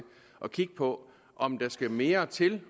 at kigge på om der skal mere til